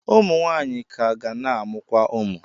Ụmụ nwaanyị ka ga na-amụkwa ụmụ.